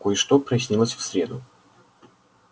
кое-что прояснилось в среду